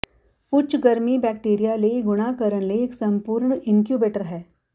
ਉੱਚ ਗਰਮੀ ਬੈਕਟੀਰੀਆ ਲਈ ਗੁਣਾ ਕਰਨ ਲਈ ਇੱਕ ਸੰਪੂਰਨ ਇਨਕਿਊਬੇਟਰ ਹੈ